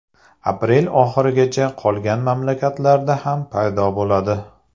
Aprel oxirigacha qolgan mamlakatlarda ham paydo bo‘ladi.